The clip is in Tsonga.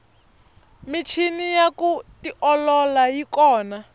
michini ya ku tiolola yi kona